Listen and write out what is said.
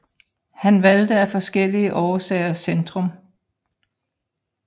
Han valgte af forskellige årsager Centrum